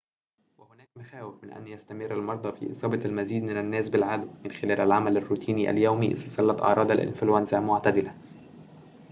وهناك مخاوف من أن يستمر المرضى في إصابة المزيد من الناس بالعدوى من خلال العمل الروتيني اليومي إذا ظلت أعراض الإنفلونزا معتدلة